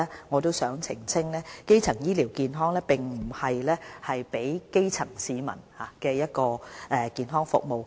我也想先澄清一點，基層醫療健康並非指為基層市民提供的健康服務。